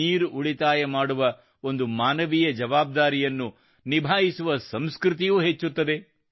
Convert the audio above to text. ನೀರು ಉಳಿತಾಯ ಮಾಡುವ ಒಂದು ಮಾನವೀಯ ಜವಾಬ್ದಾರಿಯನ್ನು ನಿಭಾಯಿಸುವ ಸಂಸ್ಕೃತಿಯೂ ಹೆಚ್ಚುತ್ತದೆ